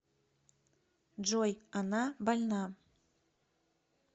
джой она больна